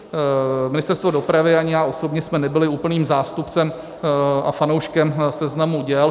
Ministerstvo dopravy ani já osobně jsme nebyli úplným zástupcem a fanouškem seznamu děl.